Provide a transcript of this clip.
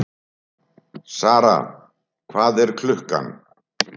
Sara, hvað er klukkan?